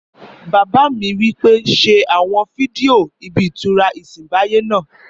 Bàbá mi wí pé ṣe àwọn fídíò ibí ìtura ìsẹ̀nbáyé náà